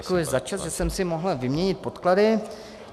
Děkuji za čas, že jsem si mohl vyměnit podklady.